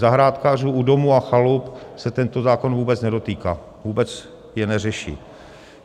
Zahrádkářů u domů a chalup se tento zákon vůbec nedotýká, vůbec je neřeší.